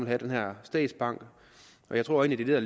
have den her statsbank og jeg tror egentlig at